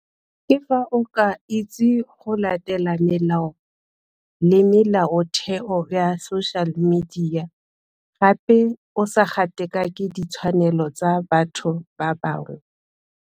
Ke fa o ka itse go latela melao le melaotheo ya social media, gape o sa gatakake ditshwanelo tsa batho ba bangwe.